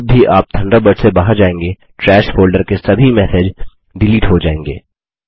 जब भी आप थंडरबर्ड से बहार जायेंगे ट्रैश फोल्डर के सभी मैसेज डिलीट हो जायेंगे